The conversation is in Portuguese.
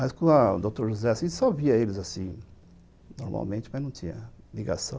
Mas com o doutor José, a gente só via eles assim, normalmente, mas não tinha ligação.